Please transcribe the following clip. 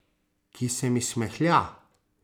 Ki se mi smehlja.